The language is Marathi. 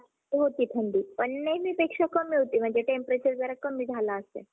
कोणत्या पण सांग!